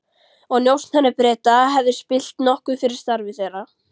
og njósnari Breta, hefði spillt nokkuð fyrir starfi þeirra.